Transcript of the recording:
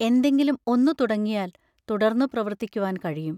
എന്തെങ്കിലും ഒന്നു തുടങ്ങിയാൽ തുടർന്നു പ്രവർത്തിക്കുവാൻ കഴിയും.